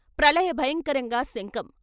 ప్రళయ భయంకరంగా శంఖం....